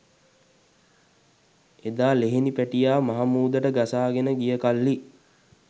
එදා ලෙහෙනි පැටියා මහමුහුදට ගසාගෙන ගියකල්හි